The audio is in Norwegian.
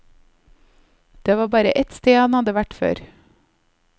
Det var bare et sted han hadde vært før.